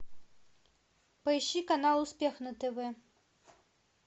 поищи канал успех на тв